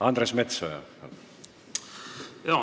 Andres Metsoja, palun!